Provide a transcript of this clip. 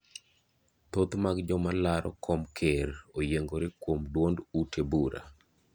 Thoth mag joma laro kom ker oyiengore kuom duond ute bura.